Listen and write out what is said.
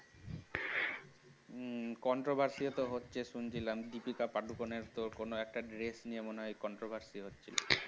হম controversy তো হচ্ছে শুনছিলাম দীপিকা পাডুকোন এর তো কোন একটা dress নিয়ে মনে হয় controversy হচ্ছিল